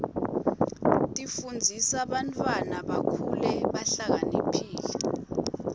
tifundzisa bantwana bakhule behlakaniphile